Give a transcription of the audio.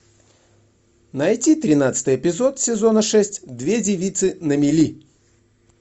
найти тринадцатый эпизод сезона шесть две девицы на мели